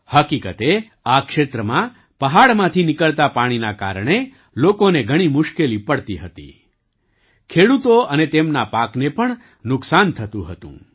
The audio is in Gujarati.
હકીકતે આ ક્ષેત્રમાં પહાડમાંથી નીકળતા પાણીનાકારણે લોકોને ઘણી મુશ્કેલી પડતી હતી ખેડૂતો અને તેમના પાકને પણ નુકસાન થતું હતું